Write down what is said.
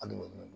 Hali